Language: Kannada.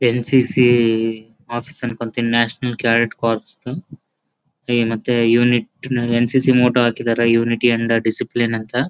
ಎನ್.ಸಿ.ಸಿ ಆಫೀಸ್ ನ್ಕೋತೀನಿ ನ್ಯಾಷನಲ್ ಕ್ಯಾಡೆಟ್ ಕಾರ್ಪ್ಸ್ ಅಂತ ಹೇ ಮತ್ತೆ ಯೂನಿಟ್ ನ ಎನ್.ಸಿ.ಸಿ ಮೋಟೋ ಹಾಕಿದ್ದಾರೆ ಯೂನಿಟ್ ಇನ್ ದಿ ಡಿಸಿಪ್ಲಿನ್ ಅಂತ .